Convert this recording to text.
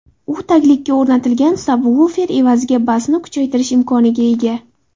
U taglikka o‘rnatilgan sabvufer evaziga basni kuchaytirish imkoniga ega.